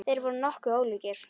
Þeir voru nokkuð ólíkir.